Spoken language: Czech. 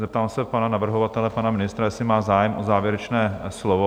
Zeptám se pana navrhovatele, pana ministra, jestli má zájem o závěrečné slovo?